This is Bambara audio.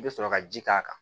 I bɛ sɔrɔ ka ji k'a kan